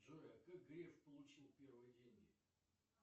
джой а как греф получил первые деньги